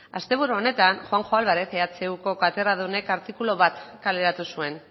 asteburu honetan juanjo álvarez ehuko katedradunek artikulu bat kaleratu zuen